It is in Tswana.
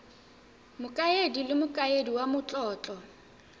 mokaedi le mokaedi wa matlotlo